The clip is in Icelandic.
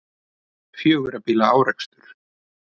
Fjögurra bíla árekstur